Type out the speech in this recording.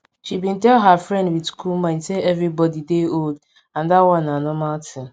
she been tell her friend with cool mind say everybody dey old and that one na normal thing